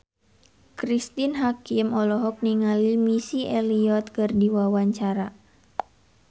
Cristine Hakim olohok ningali Missy Elliott keur diwawancara